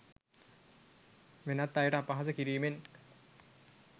වෙනත් අයට අපහාස කිරීමෙන්.